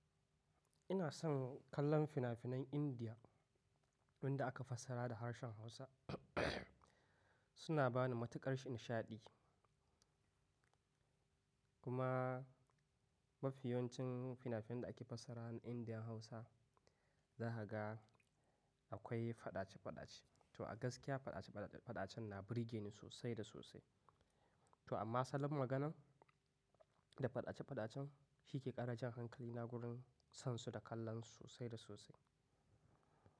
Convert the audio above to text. Ina son kallon fina-finan Indiya wanda aka fassara da harshen Hausa suna ba ni matuƙar nishaɗi. Kuma mafiyoncin fina-finan da aka fassara na Indiya Hausa, zahaga akwai faɗace-faɗace. To a gaskiya faɗace-faɗacen na burge ni sosai da sosai. To amma salon maganan da faɗace-faɗacen shi ke ƙara jan hankalina gurin son su da kallon su sosai da sosai.